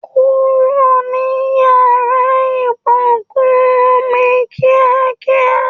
Kúrò ni yàrá ibùsùn mí kíákíá